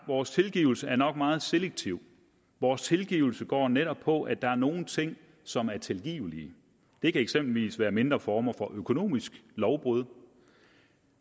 vores tilgivelse er nok meget selektiv vores tilgivelse går netop på at der er nogle ting som er tilgivelige det kan eksempelvis være mindre former for økonomiske lovbrud